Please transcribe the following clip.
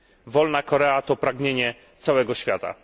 Wolna Korea to pragnienie całego świata.